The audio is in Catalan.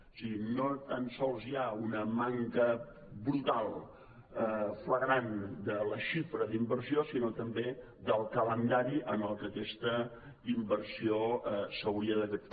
o sigui no tan sols hi ha una manca brutal flagrant de la xifra d’inversió sinó també del calendari en el que aquesta inversió s’hauria d’haver fet